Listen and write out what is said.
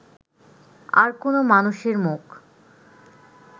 আর কোনো মানুষের মুখ